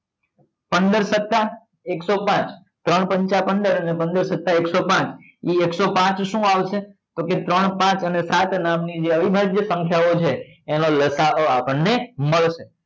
પંદર સત્તા એકસો પાંચ ત્રણ પંચા પંદર અને પંદર સત્તા એકસો પાંચ અહીં એકસો પાંચ શું આવશે તપો કે ત્રણ પાંચ અને સાત નામ ની જે અવિભાજ્ય સંખ્યાઓ છે એનો લસા અ આપણને મળશે